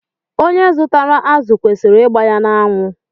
Onye zụtara azụ kwesịrị ịgba ya n'anwụ.